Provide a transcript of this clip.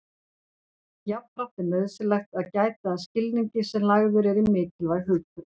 Jafnframt er nauðsynlegt að gæta að skilningi sem lagður er í mikilvæg hugtök.